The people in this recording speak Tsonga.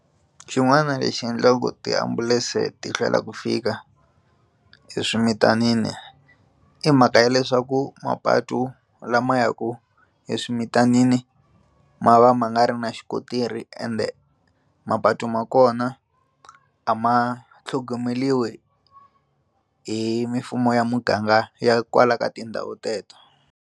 Xin'wana lexi endlaku tiambulense ti hlwela ku fika eswimitanini i mhaka ya leswaku mapatu lama ya ku eswimitanini ma va ma nga ri na xikontiri ende mapatu ma kona a ma tlhogomeriwi hi mimfumo ya muganga ya kwala ka tindhawu teto.